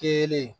Kelen